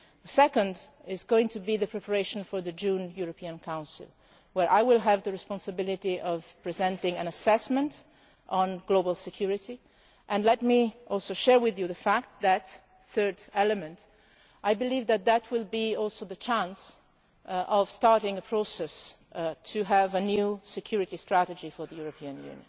as well. The second will be the preparation for the June European Council, where I will have the responsibility of presenting an assessment of global security, and let me also share with you the fact that I believe that that will also be the opportunity for starting a process to have a new security strategy for